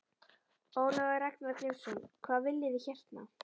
Ólafur Ragnar Grímsson: Hvað viljið þið hérna?